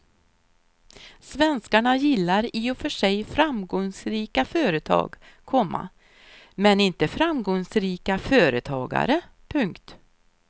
Svenskarna gillar i och för sig framgångsrika företag, komma men inte framgångsrika företagare. punkt